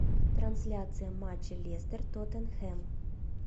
трансляция матча лестер тоттенхэм